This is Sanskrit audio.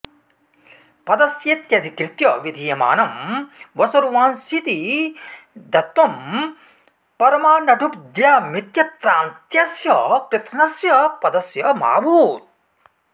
पदस्येत्यधिकृत्य विधीयमानं वसुरुआंस्विति दत्वं परमानडुभ्द्यामित्यत्राऽन्त्यस्य कृत्स्नस्य पदस्य मा भूत्